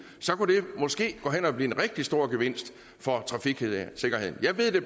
så kunne det måske gå hen og blive en rigtig stor gevinst for trafiksikkerheden jeg ved det